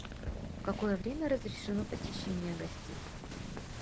в какое время разрешено посещение гостей